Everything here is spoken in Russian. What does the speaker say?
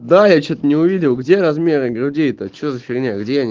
да я что-то не увидел где размеры груди это что за фигня где они